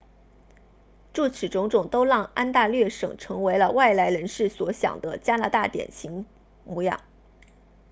诸此种种都让安大略省成为了外来人士所想的加拿大典型模样